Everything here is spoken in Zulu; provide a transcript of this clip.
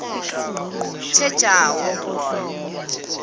thejawo